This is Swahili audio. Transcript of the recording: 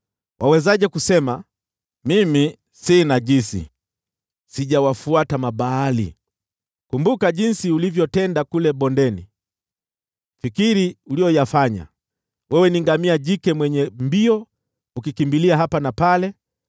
“Wawezaje kusema, ‘Mimi si najisi, sijawafuata Mabaali’? Kumbuka jinsi ulivyotenda kule bondeni; fikiri uliyoyafanya. Wewe ni ngamia jike mwenye mbio ukikimbia hapa na pale,